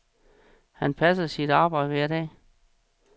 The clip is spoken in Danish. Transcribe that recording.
Han passer sit arbejde hver dag.